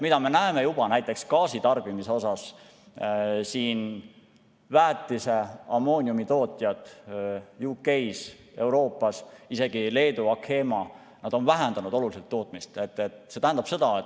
Me näeme juba näiteks gaasitarbimise puhul, et väetise-, ammooniumitootjad UK-s, Euroopas, isegi Leedu Achema on oluliselt tootmist vähendanud.